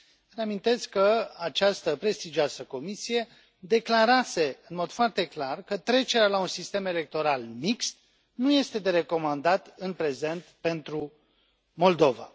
Reamintesc că această prestigioasă comisie declarase în mod foarte clar că trecerea la un sistem electoral mixt nu este de recomandat în prezent pentru Moldova.